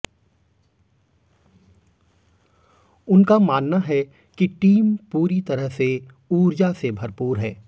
उनका मानना है कि टीम पूरी तरह से ऊर्जा से भरपूर है